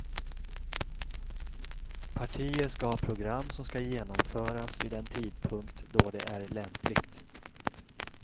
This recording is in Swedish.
Partier ska ha program som ska genomföras vid den tidpunkt då det är lämpligt.